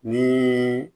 Ni